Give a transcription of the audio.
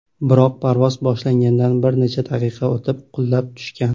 Biroq parvoz boshlangandan bir necha daqiqa o‘tib, qulab tushgan.